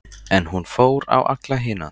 En hún fór á alla hina.